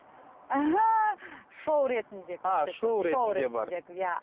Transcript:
шоу ретінде а шоу ретінде бар иә